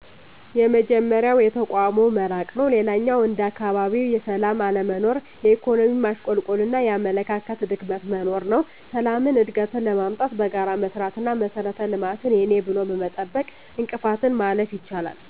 የመጀመሪያው የተቋሙ መራቅ ነው። ሌላኛው እንደ አካባቢ የሠላም አለመኖር፣ የኢኮኖሚ ማሽቆልቆልና የአመለካከት ድክመት መኖር ነው። ሠላምን፣ እድገትን ለማምጣት በጋራ መሥራት አና መሠረተ ልማትን የኔ ብሎ በመጠበቅ እንቅፋትን ማለፍ ይቻላል።